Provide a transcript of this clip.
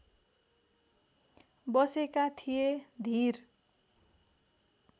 बसेका थिए धीर